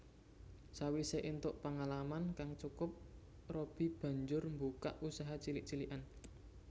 Sawisé éntuk pengalaman kang cukup Robby banjur mbukak usaha cilik cilikan